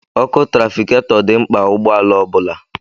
Ọkụ trafikatọ dị mkpa ụgbọala ọbula